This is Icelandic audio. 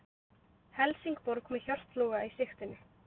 Helsingborg með Hjört Loga í sigtinu